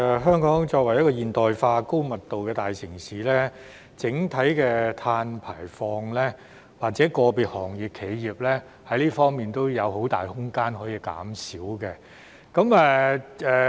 香港作為現代化，高密度的大城市，整體的碳排放，以至個別行業或企業在這方面也有很大的減排空間。